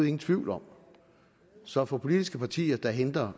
ingen tvivl om så for politiske partier der henter